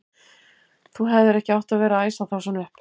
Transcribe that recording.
Þú hefðir ekki átt að vera að æsa þá svona upp!